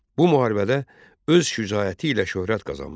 Bu müharibədə öz şücaəti ilə şöhrət qazanmışdı.